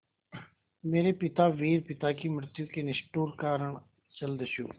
मेरे पिता वीर पिता की मृत्यु के निष्ठुर कारण जलदस्यु